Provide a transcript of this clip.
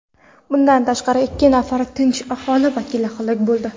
Bundan tashqari ikki nafar tinch aholi vakili halok bo‘ldi.